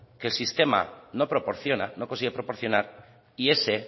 que el sistema no proporciona no consigue proporcionar y ese